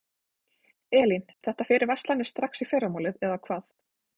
Elín: Þetta fer í verslanir strax í fyrramálið eða hvað?